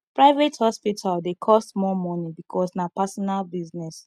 private hospital dey cost more money because na personal business